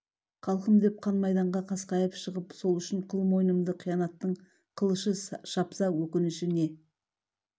халқым деп қан майданға қасқайып шығып сол үшін қыл мойнымды қиянаттың қылышы шапса өкініші не